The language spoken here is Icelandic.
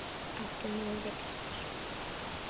Áttu nú orðið tvær?